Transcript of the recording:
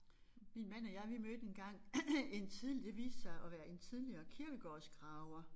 Min mand og jeg vi mødte engang en det viste sig at være en tidligere kirkegårdsgraver